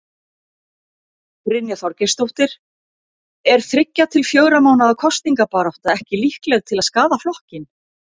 Brynja Þorgeirsdóttir: Er þriggja til fjögurra mánaða kosningabarátta ekki líkleg til að skaða flokkinn?